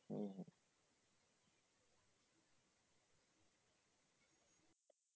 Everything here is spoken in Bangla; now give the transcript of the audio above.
হম